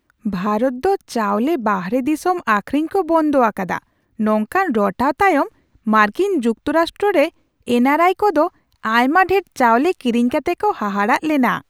ᱵᱷᱟᱨᱚᱛ ᱫᱚ ᱪᱟᱣᱞᱮ ᱵᱟᱦᱨᱮ ᱫᱤᱥᱚᱢ ᱟᱠᱷᱨᱤᱧ ᱠᱚ ᱵᱚᱱᱫᱷ ᱟᱠᱟᱫᱟ ᱱᱚᱝᱠᱟ ᱨᱚᱴᱟᱣ ᱛᱟᱭᱚᱢ ᱢᱟᱨᱠᱤᱱ ᱡᱩᱠᱛᱚ ᱨᱟᱥᱴᱨᱚ ᱨᱮ ᱮᱱ ᱟᱨ ᱟᱭᱼ ᱠᱚᱫᱚ ᱟᱭᱢᱟ ᱰᱷᱮᱨ ᱪᱟᱣᱞᱮ ᱠᱤᱨᱤᱧ ᱠᱟᱛᱮ ᱠᱚ ᱦᱟᱦᱟᱲᱟᱜ ᱞᱮᱱᱟ ᱾